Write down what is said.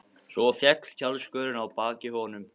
Svo féll tjaldskörin að baki honum.